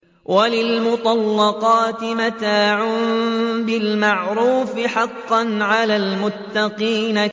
وَلِلْمُطَلَّقَاتِ مَتَاعٌ بِالْمَعْرُوفِ ۖ حَقًّا عَلَى الْمُتَّقِينَ